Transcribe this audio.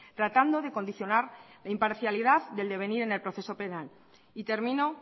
tratando de condicionar la imparcialidad del de venir en el proceso penal y termino